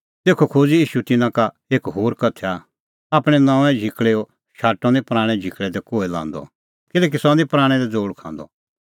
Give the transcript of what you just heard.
तेखअ खोज़अ ईशू तिन्नां का एक होर उदाहरण आपणैं नऊंऐं झिकल़ैओ शाटअ निं पराणैं झिकल़ै दी कोहै लांदअ किल्हैकि सह निं पराणैं दी ज़ोल़ खांदअ